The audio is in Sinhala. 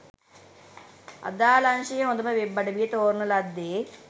අදාල අංශයේ හොඳම වෙබ් අඩවිය තෝරන ලද්දේ